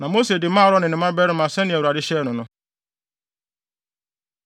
Na Mose de maa Aaron ne ne mmabarima sɛnea Awurade hyɛɛ no no.